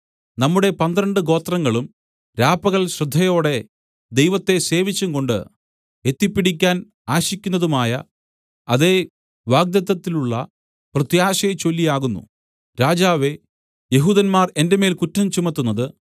നമ്മുടെ പന്ത്രണ്ട് ഗോത്രങ്ങളും രാപ്പകൽ ശ്രദ്ധയോടെ ദൈവത്തെ സേവിച്ചുംകൊണ്ട് എത്തിപ്പിടിക്കുവാൻ ആശിക്കുന്നതായ അതേ വാഗ്ദത്തത്തിലുള്ള പ്രത്യാശയെച്ചൊല്ലി ആകുന്നു രാജാവേ യെഹൂദന്മാർ എന്റെ മേൽ കുറ്റം ചുമത്തുന്നത്